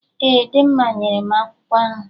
Ee, Dimma nyere m akwụkwọ ahụ